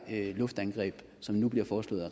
luftangreb som nu bliver foreslået